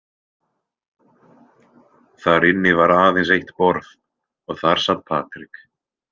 Þar inni var aðeins eitt borð og þar sat Patrik.